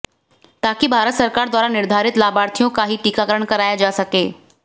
ताकि भारत सरकार द्वारा निर्धारित लाभार्थियों का ही टीकाकरण कराया जा सके